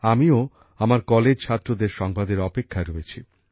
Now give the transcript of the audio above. আমিও আমার কলেজ ছাত্রদের সংবাদের অপেক্ষায় রয়েছি